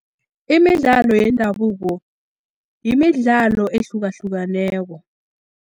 Imidlalo wendabuko, yimidlalo ehlukahlukeneko.